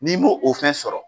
N'i m'o o fɛn sɔrɔ